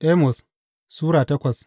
Amos Sura takwas